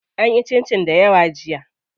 An yi cincin dayawa jiya.